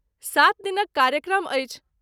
सात दिनक कार्यक्रम अछि।